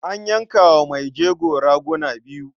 A yanka wa mai jego raguna biyu.